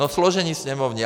No složení sněmovní.